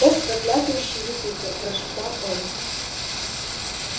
ох проклятущий юпитер прошептал он